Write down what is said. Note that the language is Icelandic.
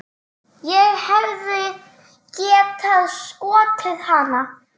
Ég hefði getað skotið hann.